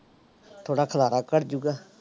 ਥੋੜ੍ਹਾ ਖਿਲਾਰਾ ਘੱਟ ਜਾਊਗਾ।